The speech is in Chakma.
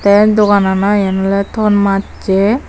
te doganano iyen ole thon macche.